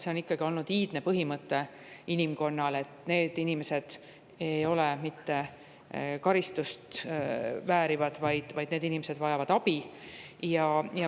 See on ikkagi olnud inimkonna iidne põhimõte, et need inimesed ei vääri mitte karistust, vaid need inimesed vajavad abi.